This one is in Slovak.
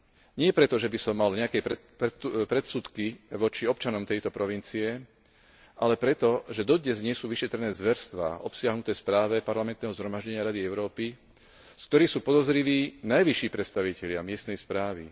Nie preto, že by som mal nejaké predsudky voči občanom tejto provincie, ale preto, že dodnes nie sú vyšetrené zverstvá obsiahnuté v správe Parlamentného zhromaždenia Rady Európy, z ktorých sú podozriví najvyšší predstavitelia miestnej správy.